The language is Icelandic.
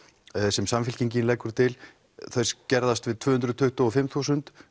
sem Samfylkingin leggur til þau skerðast við tvö hundruð tuttugu og fimm þúsund